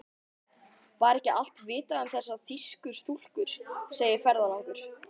Var ekki allt vitað um þessar þýsku stúlkur, segir ferðalangur.